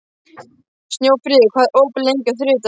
Snjófríður, hvað er opið lengi á þriðjudaginn?